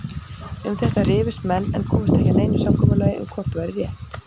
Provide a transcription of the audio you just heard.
Um þetta rifust menn en komust ekki að neinu samkomulagi um hvort væri rétt.